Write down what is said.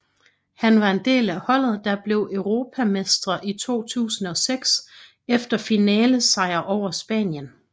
Han var en del af holdet der blev europamestre i 2006 efter finalesejr over Spanien